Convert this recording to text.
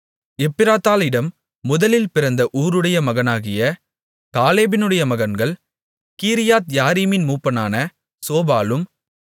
எப்ராத்தாளிடம் முதலில் பிறந்த ஊருடைய மகனாகிய காலேபினுடைய மகன்கள் கீரியாத்யாரீமின் மூப்பனான சோபாலும்